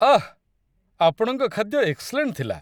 ଆଃ! ଆପଣଙ୍କ ଖାଦ୍ୟ ଏକ୍ସଲେଣ୍ଟ ଥିଲା